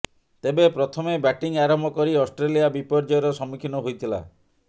ତେବେ ପ୍ରଥମେ ବ୍ୟାଟିଂ ଆରମ୍ଭ କରି ଅଷ୍ଟ୍ରେଲିଆ ବିପର୍ଯ୍ୟୟର ସମ୍ମୁଖୀନ ହୋଇଥିଲା